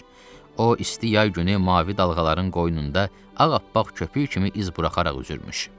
O, isti yay günü mavi dalğaların qoynunda ağappaq köpük kimi iz buraxaraq üzürmüş.